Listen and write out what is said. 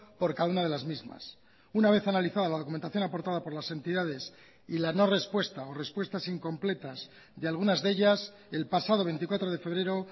por cada una de las mismas una vez analizada la documentación aportada por las entidades y la no respuesta o respuestas incompletas de algunas de ellas el pasado veinticuatro de febrero